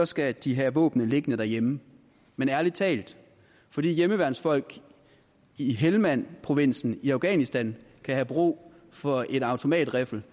skal de have våbnene liggende derhjemme men ærlig talt fordi hjemmeværnsfolk i helmandprovinsen i afghanistan kan have brug for en automatriffel